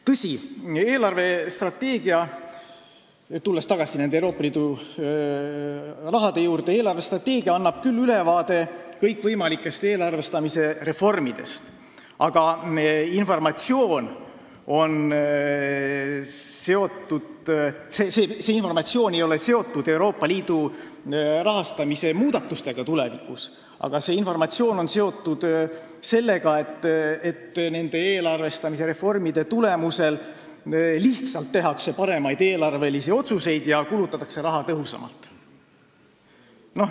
Tõsi, eelarvestrateegia – tulen tagasi Euroopa Liidu raha juurde – annab küll ülevaate kõikvõimalikest eelarvestamise reformidest, aga see informatsioon ei ole seotud Euroopa Liidu rahastamise muudatustega tulevikus, vaid sellega, et nende eelarvestamise reformide tulemusel lihtsalt tehakse paremaid eelarvelisi otsuseid ja kulutatakse raha tõhusamalt.